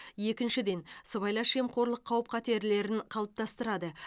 екіншіден сыбайлас жемқорлық қауіп қатерлерін қалыптастырады